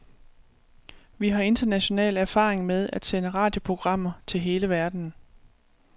Vi har international erfaring med at sende radioprogrammer til hele verden.